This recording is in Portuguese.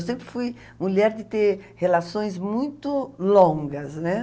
Eu sempre fui mulher de ter relações muito longas, né?